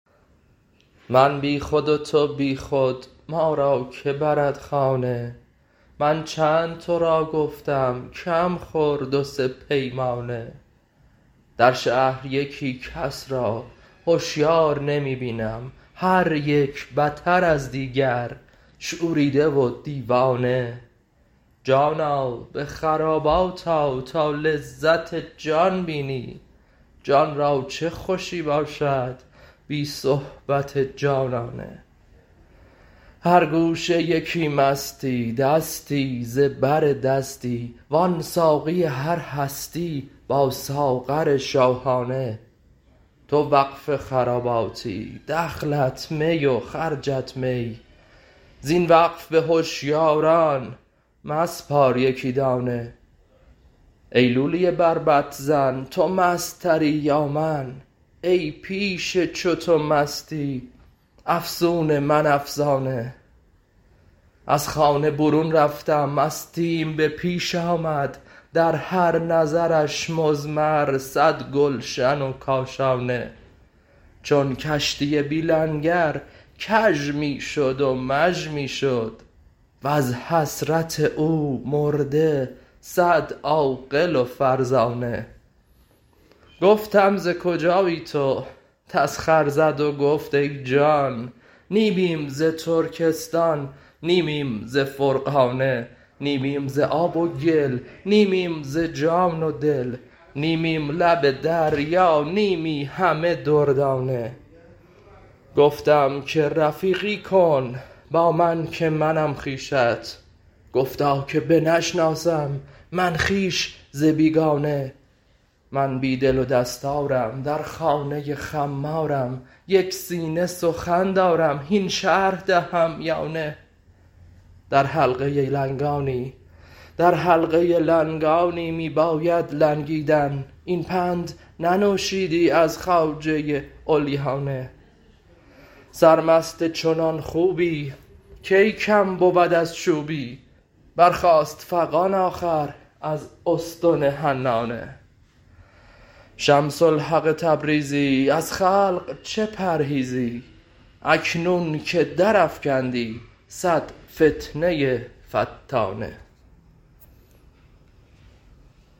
من بی خود و تو بی خود ما را که برد خانه من چند تو را گفتم کم خور دو سه پیمانه در شهر یکی کس را هشیار نمی بینم هر یک بتر از دیگر شوریده و دیوانه جانا به خرابات آ تا لذت جان بینی جان را چه خوشی باشد بی صحبت جانانه هر گوشه یکی مستی دستی ز بر دستی وان ساقی هر هستی با ساغر شاهانه تو وقف خراباتی دخلت می و خرجت می زین وقف به هشیاران مسپار یکی دانه ای لولی بربط زن تو مست تری یا من ای پیش چو تو مستی افسون من افسانه از خانه برون رفتم مستیم به پیش آمد در هر نظرش مضمر صد گلشن و کاشانه چون کشتی بی لنگر کژ می شد و مژ می شد وز حسرت او مرده صد عاقل و فرزانه گفتم ز کجایی تو تسخر زد و گفت ای جان نیمیم ز ترکستان نیمیم ز فرغانه نیمیم ز آب و گل نیمیم ز جان و دل نیمیم لب دریا نیمی همه دردانه گفتم که رفیقی کن با من که منم خویشت گفتا که بنشناسم من خویش ز بیگانه من بی دل و دستارم در خانه خمارم یک سینه سخن دارم هین شرح دهم یا نه در حلقه لنگانی می بایدت لنگیدن این پند ننوشیدی از خواجه علیانه سرمست چنان خوبی کی کم بود از چوبی برخاست فغان آخر از استن حنانه شمس الحق تبریزی از خلق چه پرهیزی اکنون که درافکندی صد فتنه فتانه